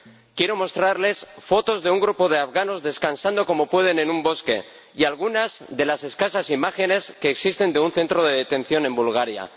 Quiero mostrarles fotos de un grupo de afganos descansando como pueden en un bosque y algunas de las escasas imágenes que existen de un centro de detención en Bulgaria.